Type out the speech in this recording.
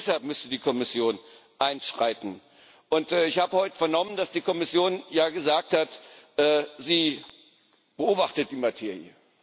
Auch deshalb müsste die Kommission einschreiten. Ich habe heute vernommen, dass die Kommission gesagt hat Sie beobachtet die Materie.